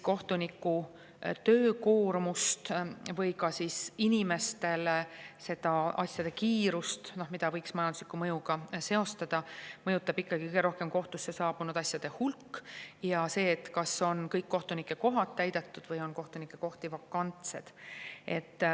Kohtuniku töökoormust ja inimeste kiirust, mida võiks majandusliku mõjuga seostada, mõjutab kõige rohkem kohtusse saabunud asjade hulk ja see, kas kõik kohtunikukohad on täidetud või on kohtunikukohti vakantsed.